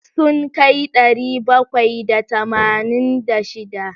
Sun kai ɗari bakwai da tamanin da shida.